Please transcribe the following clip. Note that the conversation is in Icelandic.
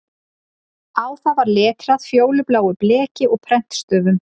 Á það var letrað fjólubláu bleki og prentstöfum